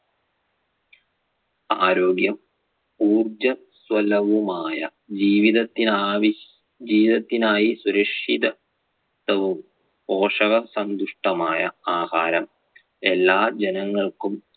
ആരോഗ്യം ഉർജ്ജസ്വലവുമായ ജീവിതത്തിനാവി~ ജീവിതത്തിനായി സുരക്ഷിത ത്വവും പോഷകസന്തുഷ്ട്ടമായ ആഹാരം എല്ലാ ജനങ്ങൾക്കും